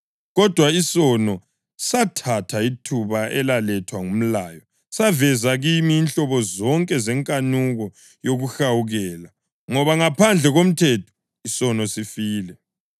Kodwa isono, sathatha ithuba elalethwa ngumlayo, saveza kimi inhlobo zonke zenkanuko yokuhawukela. Ngoba ngaphandle komthetho, isono sifile.